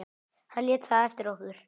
Hann lét það eftir okkur.